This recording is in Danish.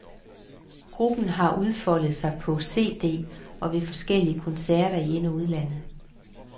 Gruppen har udfoldet sig på cd og ved forskellige koncerter i ind, og udland.